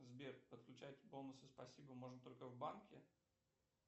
сбер подключать бонусы спасибо можно только в банке